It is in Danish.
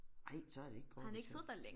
Ej så er det ikke Gorbatjov